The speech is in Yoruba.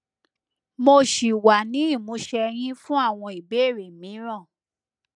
mo ṣì wà ní ìmúṣẹ yín fún àwọn ìbéèrè mìíràn